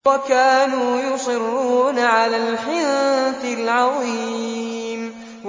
وَكَانُوا يُصِرُّونَ عَلَى الْحِنثِ الْعَظِيمِ